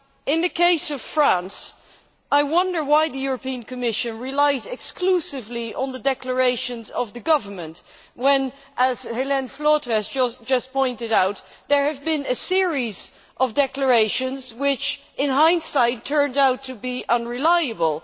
In the case of France, I wonder why the Commission relies exclusively on the declarations of the government when, as Hélène Flautre has just pointed out, there has been a series of declarations which, with hindsight, turned out to be unreliable.